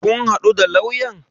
Kun haɗu da lauyan?